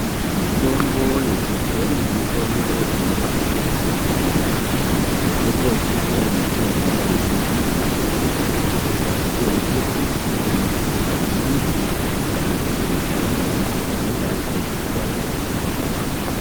Mutombo yechibhoyi mitombo inobabetsera kwemene. Mitombo yechibhoyi inobva maningi kumbuti, makwati embuti, midzi dzembuti kana kuti mashakani embuti anenge atswanywa-tswanywa okuiwa.